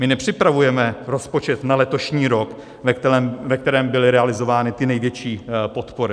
My nepřipravujeme rozpočet na letošní rok, ve kterém byly realizovány ty největší podpory.